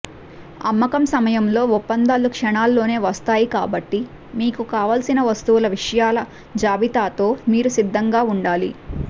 అమ్మకం సమయంలో ఒప్పందాలు క్షణాల్లోనే వస్తాయి కాబట్టి మీకు కావలసిన వస్తువుల విషయాల జాబితాతో మీరు సిద్ధంగా ఉండాలి